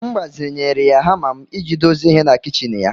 M gbazinyere ya hama m iji dozie ihe na kichin ya